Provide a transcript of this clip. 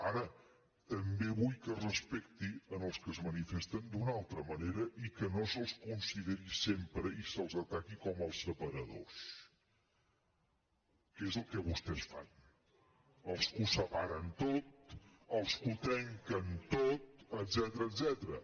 ara també vull que es respectin els que es manifesten d’una altra manera i que no se’ls consideri sempre i se’ls ataqui com els separadors que és el que vostès fan els que ho separen tot els que ho trenquen tot etcètera